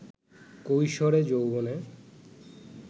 কৈশোরে, যৌবনে